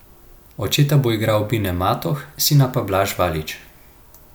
Očeta bo igral Bine Matoh, sina pa Blaž Valič.